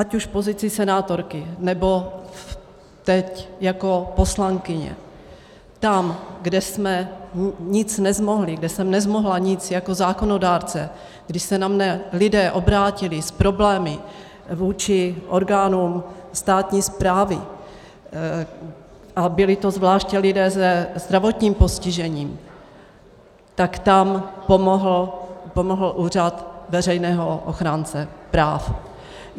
Ať už v pozici senátorky, nebo teď jako poslankyně, tam, kde jsme nic nezmohli, kde jsem nezmohla nic jako zákonodárce, když se na mě lidé obrátili s problémy vůči orgánům státní správy, a byli to zvláště lidé se zdravotním postižením, tak tam pomohl úřad veřejného ochránce práv.